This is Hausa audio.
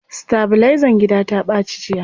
Sitabilizan gida ta ɓaci jiya.